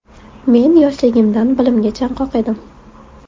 Men yoshligimdan bilimga chanqoq edim.